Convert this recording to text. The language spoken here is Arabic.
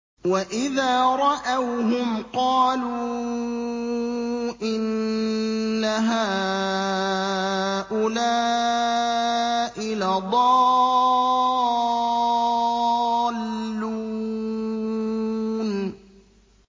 وَإِذَا رَأَوْهُمْ قَالُوا إِنَّ هَٰؤُلَاءِ لَضَالُّونَ